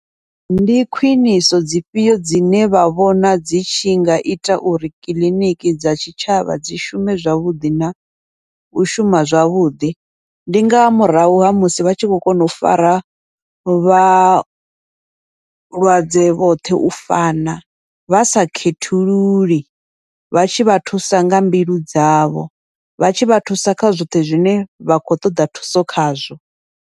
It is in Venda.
Ndi khwiṋiso dzifhio dzine vha vhona dzi tshi nga ita uri kiḽiniki dza tshitshavha dzi shume zwavhuḓi nau shuma zwavhuḓi, ndi nga murahu ha musi vha tshi kho kona u fara vhalwadze vhoṱhe u fana, vha sa khethululi vha tshivha thusa nga mbilu dzavho vhatshi vha thusa kha zwoṱhe zwine vha khou ṱoḓa thuso khazwo.